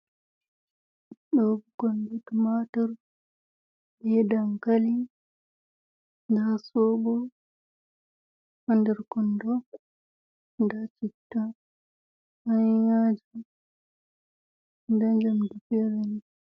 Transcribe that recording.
Ɗo ɓikkonji Tmatur, be Dankali, nda Sobo ha nder Kondo nda Citta, Kayan yaji nda njamdi Fereni.